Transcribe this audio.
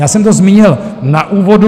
Já jsem to zmínil v úvodu.